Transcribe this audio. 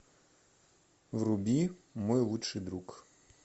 вруби мой лучший друг